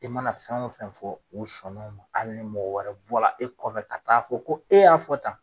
I mana fɛn o fɛn fɔ u sɔn na o ma hali ni mɔgɔ wɛrɛ bɔ la e kɔfɛ ka taa fɔ ko e y'a fɔ tan.